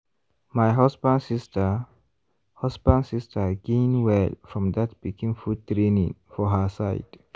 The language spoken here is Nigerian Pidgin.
my husband sister husband sister gain well from that pikin food training for her side.